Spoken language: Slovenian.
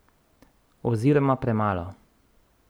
Oziroma premalo.